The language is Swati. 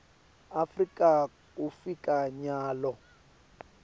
afrika kufika nyalo